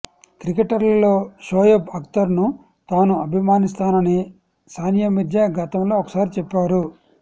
క్రికెటర్లలో షోయబ్ అక్తర్ ను తాను అభిమానిస్తానని సానియా మీర్జా గతంలో ఒకసారి చెప్పారు